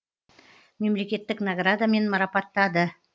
мемлекеттік наградамен марапаттады